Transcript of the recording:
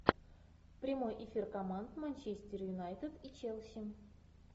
прямой эфир команд манчестер юнайтед и челси